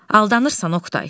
Aldanırsan Oqtay.